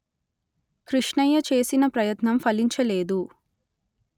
కృష్ణయ్య చేసిన ప్రయత్నం ఫలించలేదు